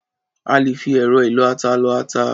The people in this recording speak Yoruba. À lè fi ẹ̀rọ ìlọ-ata lọ ata.